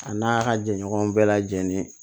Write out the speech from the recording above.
A n'a ka jɛ ɲɔgɔn bɛɛ lajɛlen